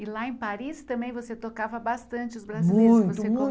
E lá em Paris também você tocava bastante os brasileiros, que você.